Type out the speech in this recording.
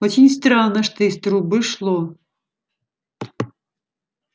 очень странно что из трубы шло